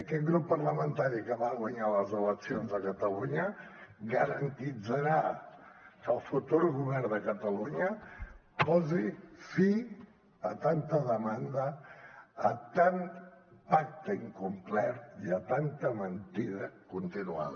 aquest grup parlamentari que va guanyar les eleccions a catalunya garantirà que el futur govern de catalunya posi fi a tanta demanda a tant pacte incomplert i a tanta mentida continuada